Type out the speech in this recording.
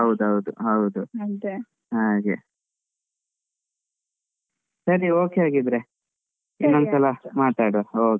ಹೌದೌದು ಹೌದು ಸರಿ okay ಹಾಗಿದ್ರೆ ಒನ್ನೊಂದ್ಸಲ ಮಾತಾಡುವ okay okay .